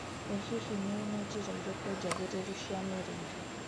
ĩ hihi nĩũĩ nĩ njĩra irĩkũ njagĩrĩru cia mĩrĩre?